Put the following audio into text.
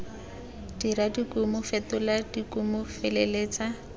dira dikumo fetola dikumo feleletsa